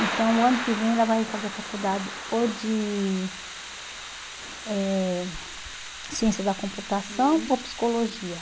Então, o ano que vem, ela vai fazer a faculdade ou de eh ciência da computação ou psicologia.